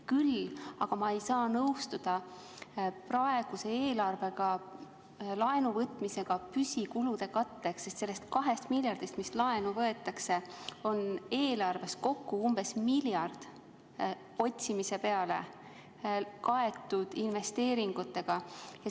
Küll aga ei saa ma praeguses eelarves nõustuda laenu võtmisega püsikulude katteks, sest sellest 2 miljardist, mis laenu võetakse, on eelarves kokku umbes 1 miljard kaetud investeeringutega.